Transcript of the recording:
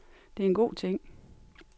Det er en god ting.